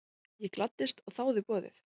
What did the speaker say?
Ég gladdist og þáði boðið.